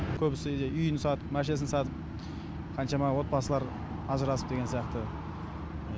көбісі үйін сатып машинасын сатып қаншама отбасылар ажырасып деген сияқты